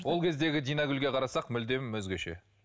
ол кездегі диангүлге қарасақ мүлдем өзгеше